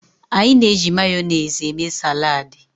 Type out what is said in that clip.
Anyị na-eji Mayonezi eme saladi.